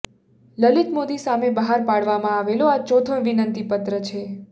લલિત મોદી સામે બહાર પાડવામાં આવેલો આ ચોથો વિનંતીપત્ર છે